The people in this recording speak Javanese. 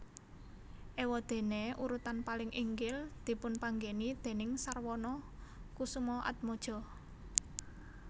Éwadéné urutan paling inggil dipunpanggèni déning Sarwono Kusumaatmadja